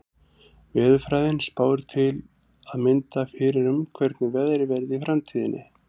Veðurfræðin spáir til að mynda fyrir um hvernig veðrið verði í framtíðinni.